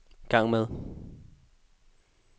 gang med